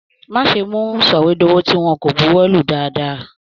Má ṣe mú sọwedowo tí wọn kò bùwólù dáadáa.